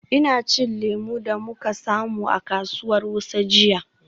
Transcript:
Ina cin lemu da muka samu a kasuwar Wuse jiya.